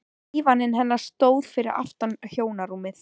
Dívaninn hennar stóð fyrir aftan hjónarúmið.